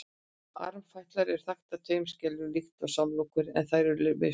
armfætlur eru þaktar tveimur skeljum líkt og samlokurnar en þær eru misstórar